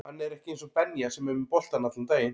Hann er ekki eins og Benja sem er með boltann allan daginn